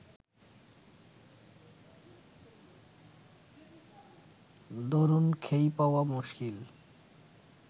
দরুন খেই পাওয়া মুশকিল